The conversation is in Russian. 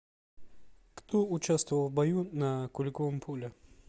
кто участвовал в бою на куликовом поле